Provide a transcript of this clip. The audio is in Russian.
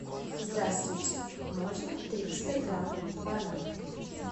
здравствуйте можно триста грамм бананов